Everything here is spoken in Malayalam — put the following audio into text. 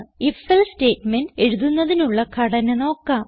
IfElse സ്റ്റേറ്റ്മെന്റ് എഴുതുന്നതിനുള്ള ഘടന നോക്കാം